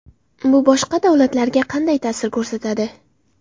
Bu boshqa davlatlarga qanday ta’sir ko‘rsatadi?